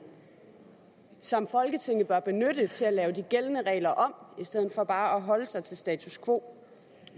som folketinget bør benytte til at lave de gældende regler om i stedet for bare at holde sig til status quo